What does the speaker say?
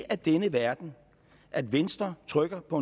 af denne verden at venstre trykker på